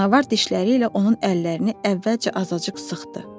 Canavar dişləri ilə onun əllərini əvvəlcə azacıq sıxdı.